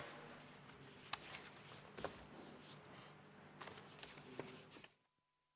Istungi lõpp kell 16.04.